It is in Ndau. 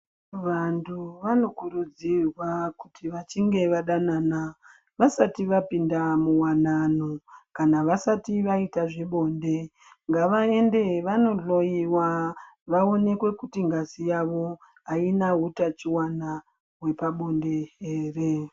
Vantu vanokurudzirwa kuti vachinge vadanana vasati vapinda muwanano kana vasati vaita zvebonde ngavaende vandohloiwa vaonekwe kuti ngazi yavo haina utachiwana hwepabonde here.